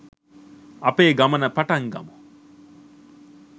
අපේ ගමන පටන් ගමු